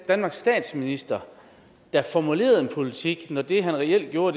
danmarks statsminister der formulerede en politik når det han reelt gjorde